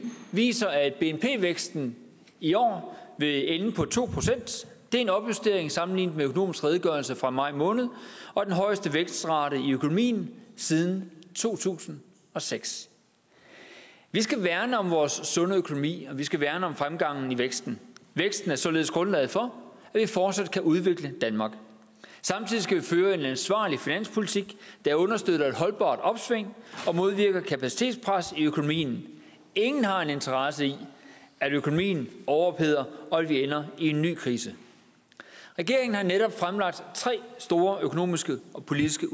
viser at bnp væksten i år vil ende på to procent det er en opjustering sammenlignet med økonomisk redegørelse fra maj måned og den højeste vækstrate i økonomien siden to tusind og seks vi skal værne om vores sunde økonomi og vi skal værne om fremgangen i væksten væksten er således grundlaget for at vi fortsat kan udvikle danmark samtidig skal vi føre en ansvarlig finanspolitik der understøtter et holdbart opsving og modvirker kapacitetspres i økonomien ingen har en interesse i at økonomien overopheder og at vi ender i en ny krise regeringen har netop fremlagt tre store økonomiske og politiske